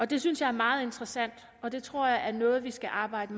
det synes jeg er meget interessant og det tror jeg er noget vi skal arbejde